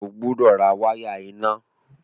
O gbúdọ̀ ra wáyà iná!